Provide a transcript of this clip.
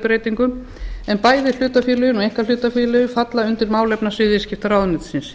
breytingum en bæði hlutafélagalögin og einkahlutafélagalögin falla undir málefnasvið viðskiptaráðuneytisins